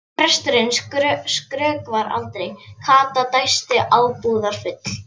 Presturinn skrökvar aldrei, Kata dæsti ábúðar- full.